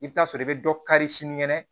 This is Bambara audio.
I bɛ taa sɔrɔ i bɛ dɔ kari sinikɛnɛ